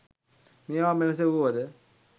මේවා මෙලෙස වුවද